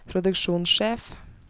produksjonssjef